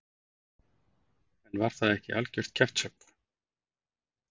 En var það ekki algjört kjaftshögg?